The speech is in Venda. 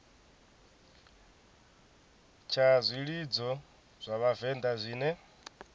tsha zwilidzo zwa vhavenḓa zwine